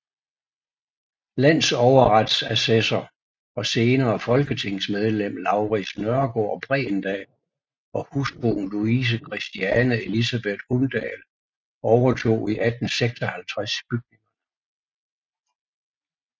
Landsoverretsassessor og senere folketingsmedlem Laurids Nørgaard Bregendahl og hustruen Louise Christiane Elisabeth Undall overtog i 1856 bygningerne